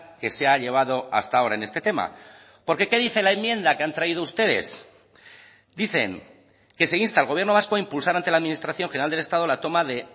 que se ha llevado hasta ahora en este tema porque qué dice la enmienda que han traído ustedes dicen que se insta al gobierno vasco a impulsar ante la administración general del estado la toma de